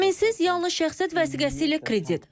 Zaminsiz yalnız şəxsiyyət vəsiqəsi ilə kredit.